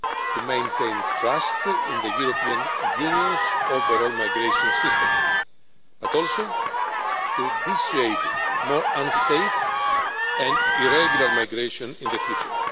to maintain trust in the European Union's overall migration system, and to dissuade more unsafe and irregular migration in the future.